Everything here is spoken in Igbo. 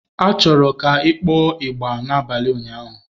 A chọrọ ka ị kpọọ ịgbà n'abalị ụnyaahụ!